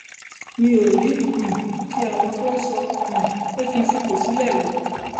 mi ò rí um ti àwọn tó ń sọ um pé kí n fipò sílẹ rò